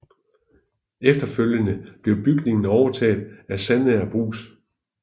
Efterfølgende blev bygningen overtaget af Sandager Brugs